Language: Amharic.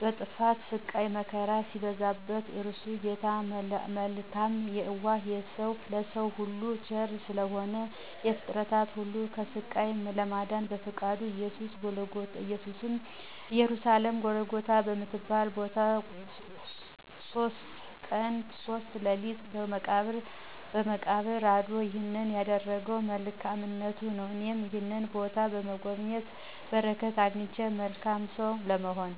በጥፋቱ ስቃይ መከራ ሲበዛበት <እርሱ ጌታ መልካም የዋህ ለሰዉ ሁሉ ቸር ስለሆነ>ፍጥረትን ሁሉ ከስቃይ ለማዳን በፈቃዱ በኢየሩሳሌም ጎልጎታ በምትባል ቦታ"ሶስት ቀን ሶስት ሌሊት በመቃብር "አድራል። ይህንን ያደረገዉ በመልካምነቱ ነዉ። እኔም ይህንን ቦታ በመጎብኘት በረከት አግኝቼ መልካም ሰዉ ለመሆን።